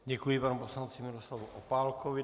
Děkuji panu poslanci Miroslavu Opálkovi.